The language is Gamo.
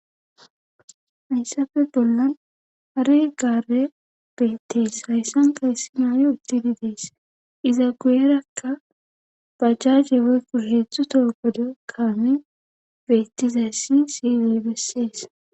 hayssafe bollan ari gare beettees hayssan kayssi maaye uttidi dees iza guerakka bajjaje woykku heedzdzu too godo kaame beettizayssi siiley bessees